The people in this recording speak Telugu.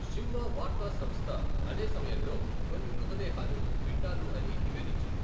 షింవా వార్తా సంస్థ, అదే సమయంలో, కొన్ని మృతదేహాలు పిండాలు అని నివేదించింది.